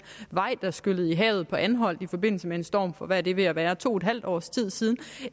vej der skyllede i havet på anholt i forbindelse med en storm for hvad er det ved at være to en halv års tid siden